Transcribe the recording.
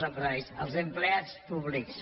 empresaris els empleats públics